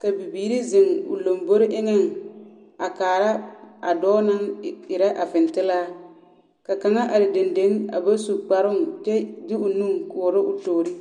ka bibiiri zeŋ o lombori eŋԑŋ a kaara a dͻͻ naŋ erԑ a fintilaa. Ka kaŋa are dendeŋ a ba su kparoo kyԑ o nu a koͻrͻ o toori.